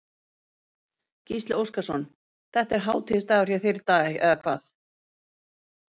Gísli Óskarsson: Þetta er hátíðisdagur hjá þér í dag, eða hvað?